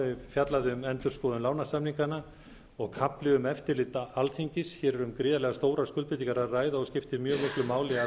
fjallað um endurskoðun lánasamninganna og kafli um eftirlit alþingis hér er um gríðarlega stórar skuldbindingar að ræða og skiptir mjög miklu máli að